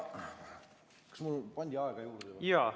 Kas mulle pandi aega juurde?